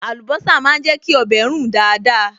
Àlùbọ́sà máa ń jẹ́ kí ọbẹ̀ rùn dáadáa